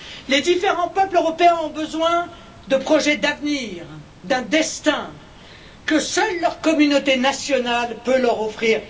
Les différents peuples européens ont besoin de projets d'avenir, d'un destin que seule leur communauté nationale peut leur offrir.